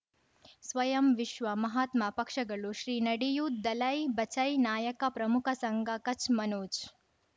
ಸ್ವಯಂ ವಿಶ್ವ ಮಹಾತ್ಮ ಪಕ್ಷಗಳು ಶ್ರೀ ನಡೆಯೂ ದಲೈ ಬಚೈ ನಾಯಕ ಪ್ರಮುಖ ಸಂಘ ಕಚ್ ಮನೋಜ್